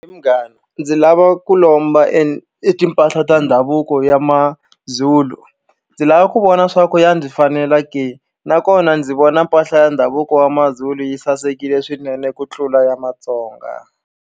He munghana ndzi lava ku lomba e e timpahla ta ndhavuko ya mazulu ndzi lava ku vona swa ku ya ndzi fanela ke nakona ndzi vona mpahla ya ndhavuko wa maZulu yi sasekile swinene ku tlula ya Matsonga.